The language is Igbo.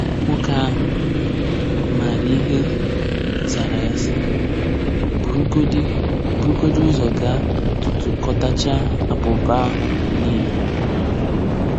Nwoke ahụ maara ihe zara ya sị: “Burugodị: “Burugodị ụzọ gaa tụtụkọtachaa abụba ahụ niile”